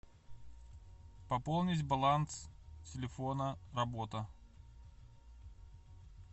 пополнить баланс телефона работа